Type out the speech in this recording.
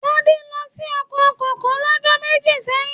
Tade lọ sí oko kókó l'ọjọ́ méjì sẹyìn.